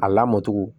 A lamɔcogo